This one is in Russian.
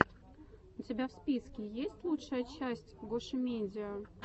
у тебя в списке есть лучшая часть гошимедиа